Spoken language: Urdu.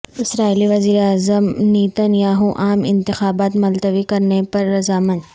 اسرائیلی وزیر اعظم نیتن یاہو عام انتخابات ملتوی کرنے پر رضامند